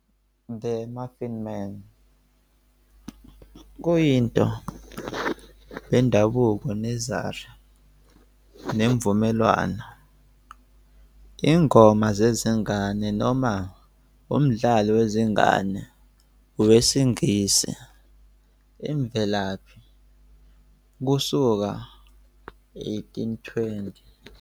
"The Muffin Man "kuyinto bendabuko nursery nemvumelwano, ingoma zezingane noma umdlalo wezingane we ngesiNgisi imvelaphi kusuka 1820.